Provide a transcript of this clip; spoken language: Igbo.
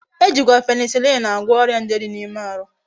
Ejikwa penicillin agwo oria nje di na ime ahu